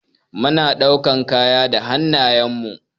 Mu na ɗaukan kaya da hannayen mu.